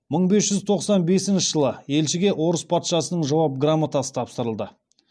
мың бес жүз тоқсан бесінші жылы елшіге орыс патшасының жауап грамотасы тапсырылды